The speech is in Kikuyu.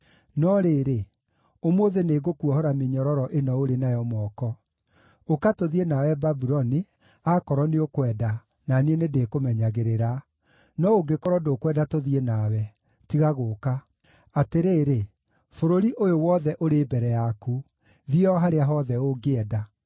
No rĩrĩ, ũmũthĩ nĩngũkuohora mĩnyororo ĩno ũrĩ nayo moko. Ũka tũthiĩ nawe Babuloni, akorwo nĩũkwenda, na niĩ nĩndĩkũmenyagĩrĩra; no ũngĩkorwo ndũkwenda tũthiĩ nawe, tiga gũũka. Atĩrĩrĩ, bũrũri ũyũ wothe ũrĩ mbere yaku; thiĩ o harĩa hothe ũngĩenda.”